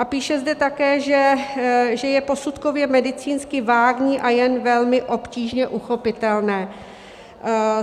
A píše zde také, že je posudkově medicínsky vágní a jen velmi obtížně uchopitelné.